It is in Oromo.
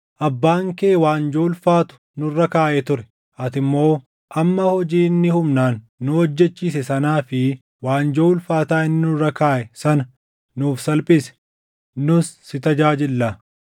“Abbaan kee waanjoo ulfaatu nurra kaaʼee ture; ati immoo amma hojii inni humnaan nu hojjechiise sanaa fi waanjoo ulfaataa inni nurra kaaʼe sana nuuf salphisi; nus si tajaajillaa.”